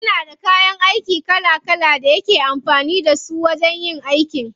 Yana da kayan aiki kala kala da yake amfani da su wajen yin aiki.